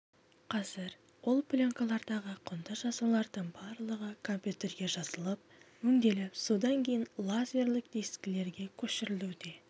қазір ол пленкалардағы құнды жазулардың барлығы компьютерге жазылып өңделіп содан кейін лазерлік дискілерге көшірілуде